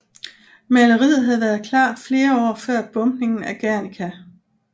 Maleriet havde været klar flere år før bombningen af Guernica